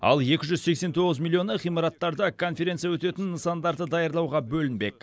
ал екі жүз сексен тоғыз миллионы ғимараттарды конференция өтетін нысандарды даярлауға бөлінбек